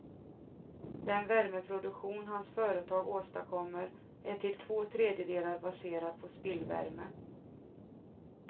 Den värmeproduktion hans företag åstadkommer är till två tredjedelar baserad på spillvärme.